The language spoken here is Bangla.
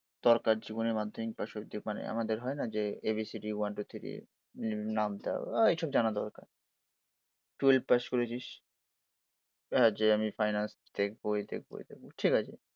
দরকার জীবনে মাধ্যমিক পাশের মানে যে আমাদের হয়না যে A B C D, one two three, নামতা ওই এইসব জানা দরকার। টুয়েলভ পাশ করেছিস, এই ধর যে আমি ফাইন্যান্স দেখবো এই দেখবো ওই দেখবো ঠিক আছে